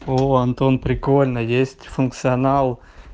во антон прикольно есть функционал